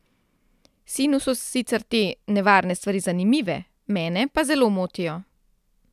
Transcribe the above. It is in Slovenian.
Sinu so sicer te nevarne stvari zanimive, mene pa zelo motijo.